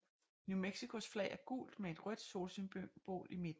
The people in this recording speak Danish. New Mexicos flag er gult med et rødt solsymbol i midten